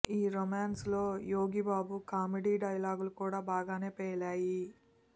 ఈ రొమాన్స్లో యోగిబాబు కామెడీ డైలాగ్లు కూడా బాగానే పేలాయి